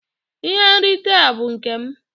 Ihe nrite a bụ nke m.